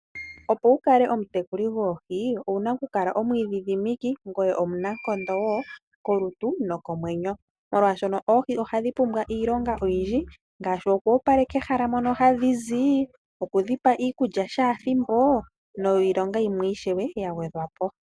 Opo wu kale omutekuli gwoohi owu na oku kala omu idhidhimiki ngoye omunankondo wo kolutu nokomwenyo, molwashono oohi oha dhi pumbwa iilonga oyindji ngaashi oku opaleka ehala mono hadhi zi, oku dhi pa iikulya shaathimbo, niilonga yimwe ishewe ya gwedhwa po.